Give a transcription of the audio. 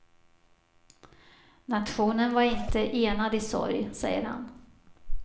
Nationen var inte enad i sorg, säger han.